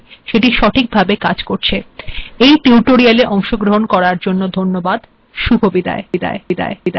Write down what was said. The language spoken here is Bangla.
এই িটউটোিরয়াল্এ অংশগ্রহন করার জন্য ধন্যবাদ আিম অন্তরা এখােনই আপনােদর েথেক িবদায় িনচি্ছ শুভিবদায়